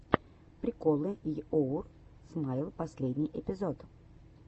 приколы йоур смайл последний эпизод